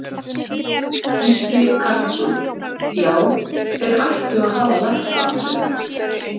Gísli Karlsson: Já, þeir ættu að hafa verkfallsrétt?